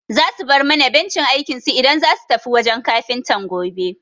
Za su bar mana bencin aikinsu idan zasu tafi wajen Kafintan gobe.